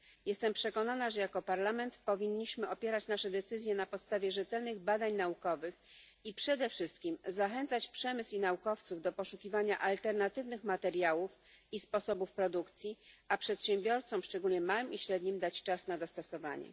Jestem przekonana, że jako Parlament powinniśmy opierać nasze decyzje na podstawie rzetelnych badań naukowych i przede wszystkim zachęcać przemysł i naukowców do poszukiwania alternatywnych materiałów i sposobów produkcji, a przedsiębiorcom, szczególnie małym i średnim, dać czas na dostosowanie.